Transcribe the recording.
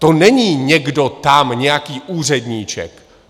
To není někdo tam, nějaký úředníček.